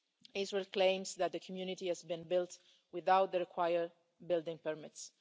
Israel claims that the community has been built without the required building permits.